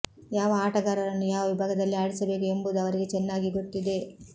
ಯಾವ ಆಟಗಾರರನ್ನು ಯಾವ ವಿಭಾಗದಲ್ಲಿ ಆಡಿಸಬೇಕು ಎಂಬುದು ಅವರಿಗೆ ಚೆನ್ನಾಗಿ ಗೊತ್ತಿದೆ